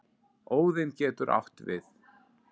Óðinn getur átt við